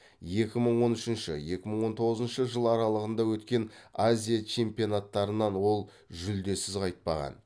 екі мың он үшінші екі мың он тоғызыншы жыл аралығында өткен азия чемпионаттарынан ол жүлдесіз қайтпаған